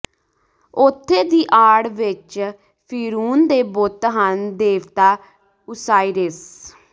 ਉੱਥੇ ਦੀ ਆੜ ਵਿੱਚ ਫ਼ਿਰਊਨ ਦੇ ਬੁੱਤ ਹਨ ਦੇਵਤਾ ਓਸਾਈਰਸ